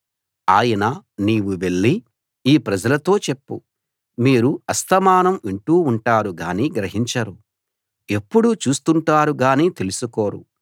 ఆయన నీవు వెళ్లి ఈ ప్రజలతో చెప్పు మీరు అస్తమానం వింటూ ఉంటారు గానీ గ్రహించరు ఎప్పుడూ చూస్తుంటారు గానీ తెలుసుకోరు